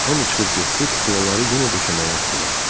Hamı çıxıb getdi, kuklaları yenə döşəməyə atdılar.